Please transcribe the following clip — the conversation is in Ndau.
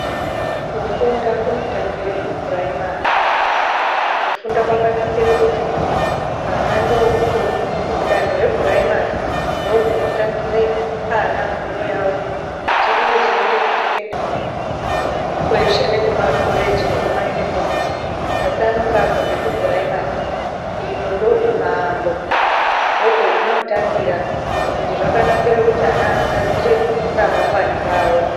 Kufunda kunotangire kupuraimari, kufunda kwakanakira kuti ana ndokudanho repuraimari ndokunotangire ana fundo yawo kuti oizoende kusekendari kweshe nekumakoreji nekumaunivesiti asi anonga abva nokupuraimari. Ino ndokumaambo ndokwazvinotangira ende zvakanakire kuti ana anogadzire ramangwana rawo.